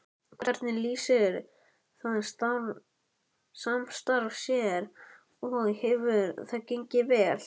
Hvernig lýsir það samstarf sér og hefur það gengið vel?